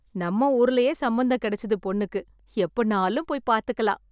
நம்ம ஊர்லயே சம்பந்தம் கிடைச்சுது பொண்ணுக்கு. எப்பனாலும் போய் பாத்துக்கலாம்.